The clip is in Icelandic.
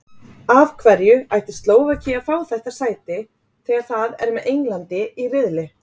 Af hverju ætti Slóvakía að fá þetta sæti þegar það er með Englandi í riðli?